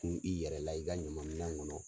kun i yɛrɛ la i ka ɲaman minɛn kɔnɔ.